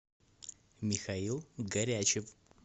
михаил горячев